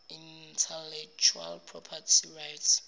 intellectual property rights